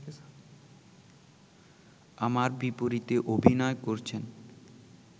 আমার বিপরীতে অভিনয় করছেন